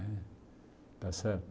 Né está certo?